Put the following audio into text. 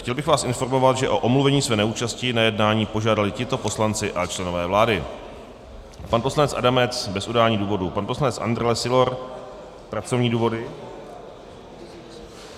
Chtěl bych vás informovat, že o omluvení své neúčasti na jednání požádali tito poslanci a členové vlády: pan poslanec Adamec bez udání důvodu, pan poslanec Andrle Sylor - pracovní důvody.